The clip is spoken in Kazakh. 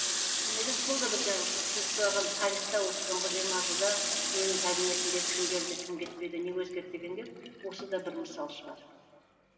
мен ойлаймын сол да бір жаңа сіз сұраған тарихта осы соңғы жиырма жылда менің кабинетімде кім келді кім кетпеді не өзгерді дегенге осы да бір мысал шығар